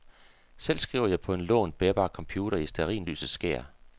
Selv skriver jeg på en lånt, bærbar computer i stearinlysets skær.